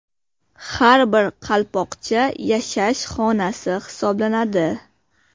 Har bir qalpoqcha yashash xonasi hisoblanadi.